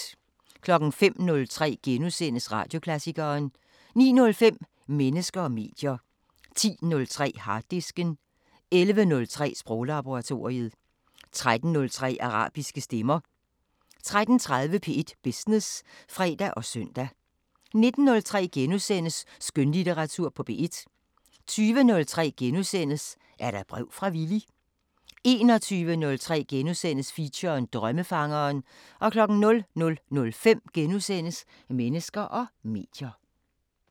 05:03: Radioklassikeren * 09:05: Mennesker og medier 10:03: Harddisken 11:03: Sproglaboratoriet 13:03: Arabiske Stemmer 13:30: P1 Business (fre og søn) 19:03: Skønlitteratur på P1 * 20:03: Er der brev fra Villy? * 21:03: Feature: Drømmefangeren * 00:05: Mennesker og medier *